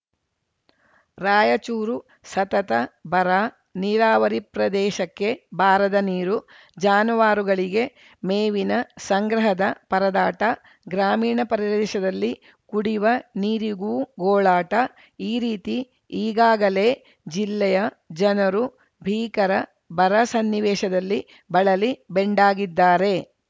ರಾಯಚೂರು ಸತತ ಬರ ನೀರಾವರಿ ಪ್ರದೇಶಕ್ಕೆ ಬಾರದ ನೀರು ಜಾನುವಾರುಗಳಿಗೆ ಮೇವಿನ ಸಂಗ್ರಹದ ಪರದಾಟ ಗ್ರಾಮೀಣ ಪರದೇಶದಲ್ಲಿ ಕುಡಿವ ನೀರಿಗೂ ಗೋಳಾಟ ಈ ರೀತಿ ಈಗಾಗಲೇ ಜಿಲ್ಲೆಯ ಜನರು ಭೀಕರ ಬರ ಸನ್ನಿವೇಶದಲ್ಲಿ ಬಳಲಿ ಬೆಂಡಾಗಿದ್ದಾರೆ